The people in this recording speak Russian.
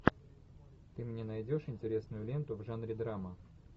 ты мне найдешь интересную ленту в жанре драма